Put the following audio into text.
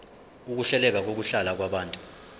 ukuhleleka kokuhlala kwabantu